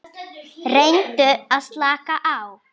Reyndu að slaka á.